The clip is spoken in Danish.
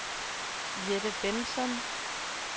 Jette Bengtsson